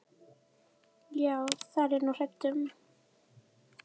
Já, það er ég nú hræddur um.